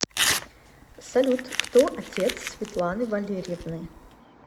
салют кто отец светланы валерьевны